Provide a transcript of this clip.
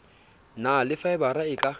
na le faebara e ka